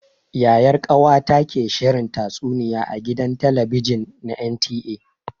Yayar ƙawata ke shirin tatsuniya a gidan talabijin na NTA.